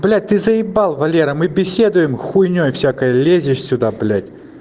блять ты заебал валера мы беседуем хуйней всякой лезешь сюда блять